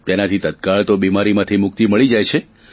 તેનાથી તત્કાળ તો બીમારીમાંથી મુક્તિ મળી જાય છે